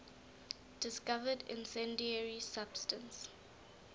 discovered incendiary substance